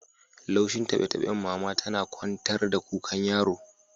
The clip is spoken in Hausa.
Laushin tabe-taben mama tana kwantar da kukan yaron